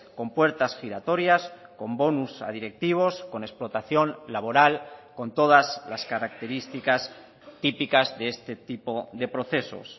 con puertas giratorias con bonus a directivos con explotación laboral con todas las características típicas de este tipo de procesos